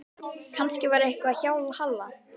Kannski var eitthvað að hjá Halla.